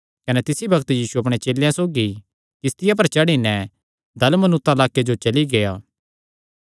कने तिसी बग्त यीशु अपणे चेलेयां सौगी किस्तिया पर चढ़ी नैं दलमनूता लाक्के जो चली गेआ